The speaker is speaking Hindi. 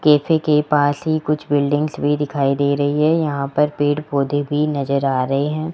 कैफे के पास ही कुछ बिल्डिंग्स भी दिखाई दे रही है यहां पर पेड़ पौधे भी नजर आ रहे हैं।